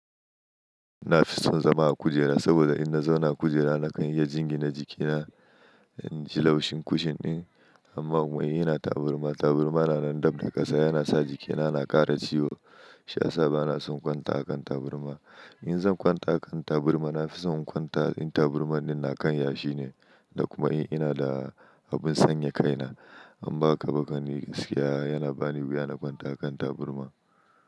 Na fi son zama a kujera saboda in na zauna a kujera na kan iya jingina jikina, in ji laushin kushin ɗin amma muyi yana taburma. Taburma na nan dab da ƙasa yana sa jikina na ƙara ciwo shi ya sa ba na son kwanta a kan taburma. In zan kwanta a kan taburma na fi son kwanta in taburman na kan yashi ne da kuma in ina da abin sanya kaina, amma haka ba kan yi, gaskiya a yana ba ni wuya na kwanta a kan taburma.